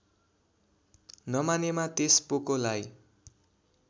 नमानेमा त्यस पोकोलाई